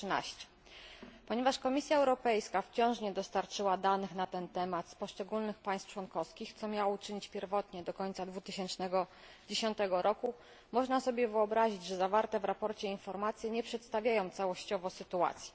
113. Ponieważ Komisja Europejska wciąż nie dostarczyła danych na ten temat z poszczególnych państw członkowskich, co miała uczynić pierwotnie do końca 2010 roku, można sobie wyobrazić, że zawarte w sprawozdaniu informacje nie przedstawiają całościowo sytuacji.